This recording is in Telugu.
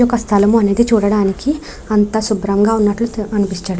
ఈ యొక్క స్థలము అనేది చూడటానికి అంతా శుభ్రంగా ఉన్నట్లు అనిపించడం --